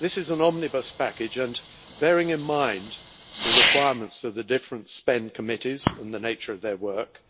This is an omnibus package and, bearing in mind the requirements of the different spend committees and the nature of their work,